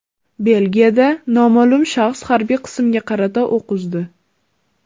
Belgiyada noma’lum shaxs harbiy qismga qarata o‘q uzdi.